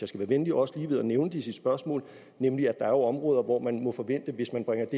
skal være venlig også lige ved at nævne det i sit spørgsmål nemlig at der jo er områder hvor man må forvente at hvis man bringer